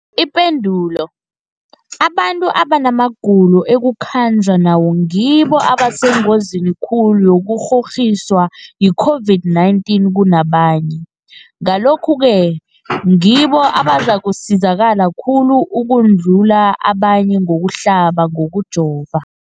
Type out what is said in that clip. Ipendulo, abantu abanamagulo ekukhanjwa nawo ngibo abasengozini khulu yokukghokghiswa yi-COVID-19 kunabanye, Ngalokhu-ke ngibo abazakusizakala khulu ukudlula abanye ngokuhlaba, ngokujova.